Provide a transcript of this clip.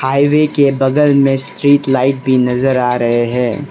Highway के बगल में स्ट्रीट लाइट भी नजर आ रहे हैं।